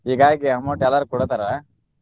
ಹಿಗಾಗಿ amount ಎಲ್ಲಾರು ಕೊಡ್ತಾರ.